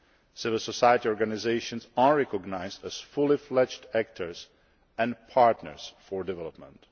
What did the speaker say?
Civil society organisations are recognised as fully fledged actors and partners for development.